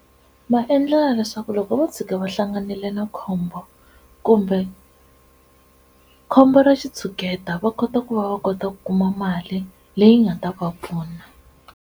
Va endlela leswaku loko vo tshika va hlanganile na khombo, kumbe khombo ra xitshuketa va kota ku va va kota ku kuma mali leyi nga ta va pfuna.